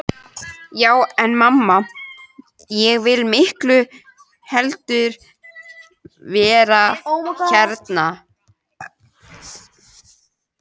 Já en mamma, ég vil miklu heldur vera hérna.